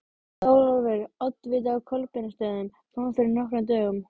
Þórólfur oddviti á Kolbeinsstöðum kom fyrir nokkrum dögum.